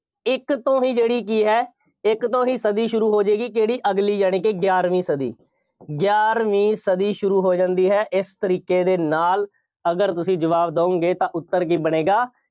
ਇੱਕ ਤੋਂ ਹੀ ਜਿਹੜੀ ਕੀ ਹੈ। ਇੱਕ ਤੋਂ ਹੀ ਸਦੀ ਸ਼ੁਰੂ ਹੋਜੇਗੀ ਕਿਹੜੀ ਅਗਲੀ ਯਾਨੀ ਕਿ ਗਿਆਰਵੀਂ ਸਦੀ, ਗਿਆਰਵੀਂ ਸਦੀ ਸ਼ੁਰੂ ਹੋ ਜਾਂਦੀ ਹੈ। ਇਸ ਤਰੀਕੇ ਦੇ ਨਾਲ ਅਗਰ ਤੁਸੀਂ ਜਵਾਬ ਦਿਉਗੇ ਤਾਂ ਉੱਤਰ ਕੀ ਬਣੇਗਾ,